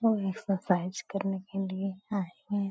लोग एक्सरसाइज करने के लिये आये हुए --